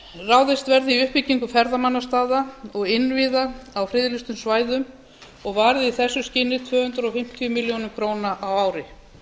verði í uppbyggingu ferðamannastaða og innviða á friðlýstum svæðum og varið í þessu skyni tvö hundruð fimmtíu milljónir króna á ári